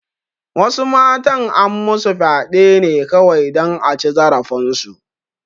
Wasu matan an masu fyaɗe ne kawai dan a ci zarafin su